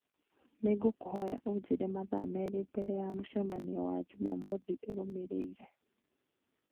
nĩ ngũkũhoya ũnjĩre mathaa merĩ mbere ya mũcemanio wa Jumamothu ĩrũmĩrĩire